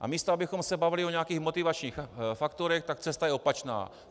A místo abychom se bavili o nějakých motivačních faktorech, tak cesta je opačná.